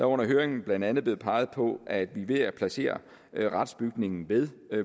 under høringen blandt andet blevet peget på at vi ved at placere retsbygningen ved